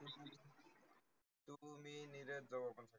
तुमी